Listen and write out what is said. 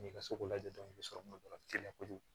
N'i ka so ko lajɛ i bɛ sɔrɔ ka dɔrɔn teliya kojugu